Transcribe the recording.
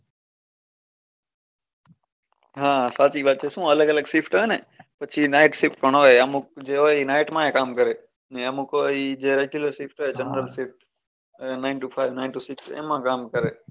હમ સાચી વાત છે શું અલગ અલગ shift આવે ને પછી night shift પણ હોય અમુક જે હોય એ night માય કામ કરે ને અમુક હોય ઈ જે regular shift હોય general shift nine to five nine to six એમાં કામ કરે.